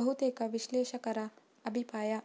ಬಹುತೇಕ ವಿಶ್ಲೇಷಕರ ಅಭಿಪ್ರಾಯ